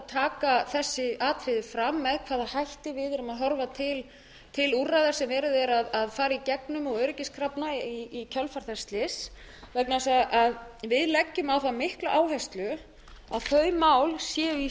taka þessi atriði fram með hvaða hætti við erum að horfa til úrræða sem verið er að fara í gegnum og öryggiskrafna í kjölfar þess slyss vegna þess að við leggjum á það mikla áherslu að þau mál séu í